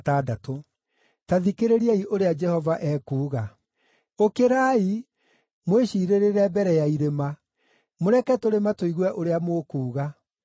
Ta thikĩrĩriai ũrĩa Jehova ekuuga: “Ũkĩrai mwĩciirĩrĩre mbere ya irĩma; mũreke tũrĩma tũigue ũrĩa mũkuuga.